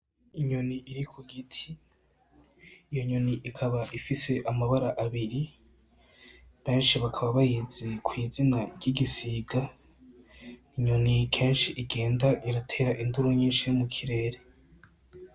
Inyoni iri kugiti iyo nyoni ikaba ifise amabara abiri benshi bakaba bayizi kw'izina ry'igisiga inyoni kenshi igenda iratera induru nyinshi mu kirere.